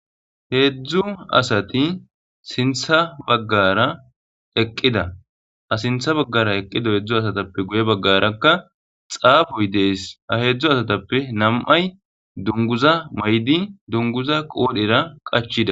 heedzdzu asati sintha baggara eqqida a sintha baggara eqqida heedzdzu asatappe guye baggarakka xaafoy dees aheedzdzu asatappe nam7ay dunguza maydi dunguza qoodhera qachida